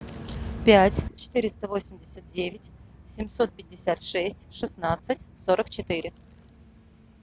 пять четыреста восемьдесят девять семьсот пятьдесят шесть шестнадцать сорок четыре